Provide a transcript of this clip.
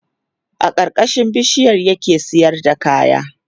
a karkashin bishiyar ya ke sayar da kaya